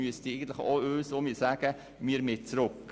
Sie müsste uns sagen: Wir wollen zurück.